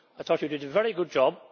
I thought you did a very good job.